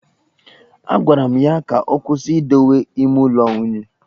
Agwara m ya ka ọ kwụsị idowe ime ụlọ unyi